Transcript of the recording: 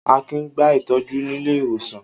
Akin ń gba ìtọ́jú nílé ìwòsàn.